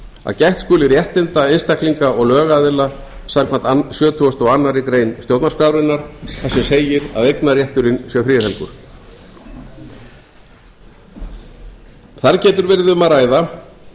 að gætt skuli réttinda einstaklinga og lögaðila samkvæmt sjötugasta og aðra grein stjórnarskrárinnar þar sem segir að eignarrétturinn sé friðhelgur þar getur verið um að ræða